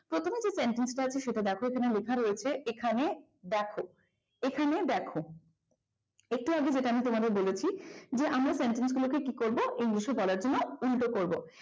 এখানে যে sentence লেখা আছে সেটা দেখো এখানে লেখা রয়েছে এখানে দেখো এখানে দেখো যে আমরা sentence গুলোকে কি করব english এ বলার জন্য উল্টো করবো।